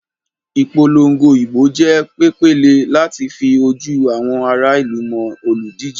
Ìpolongo ìbò jẹ́ pèpéle láti fa ojú àwọn ará ìlú mọ́ olùdíje.